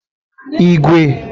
igwe